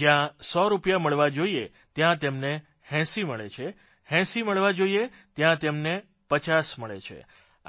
જ્યાં 100 રૂપિયા મળવા જોઇએ ત્યાં તેમને 80 મળે છે 80 મળવા જોઇએ ત્યાં તેમને 50 મળે છે